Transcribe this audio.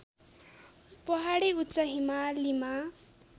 पहाडी उच्च हिमालीमा